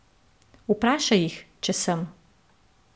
Vprašaj jih, če sem.